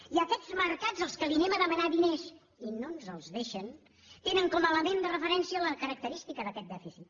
i aquests mercats als quals anem a demanar diners i no ens els deixen tenen com a element de referència la característica d’aquest dèficit